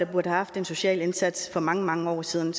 have haft en social indsats for mange mange år siden